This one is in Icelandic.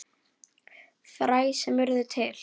Fræ sem urðu til.